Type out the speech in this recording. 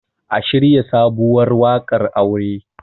a shirya sabuwar wakar aure!